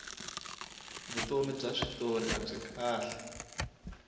vutomi bya switori abyi kahle